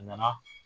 A nana